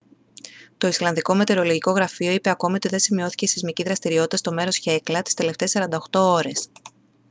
το ισλανδικό μετεωρολογικό γραφείο είπε ακόμα ότι δεν σημειώθηκε σεισμική δραστηριότητα στο μέρος χέκλα τις τελευταίες 48 ώρες